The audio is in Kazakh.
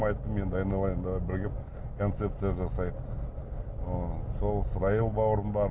айттым енді айналайын давай бірігіп концепция жасайық ы сол сраил бауырым бар